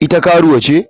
Ita karuwa ce?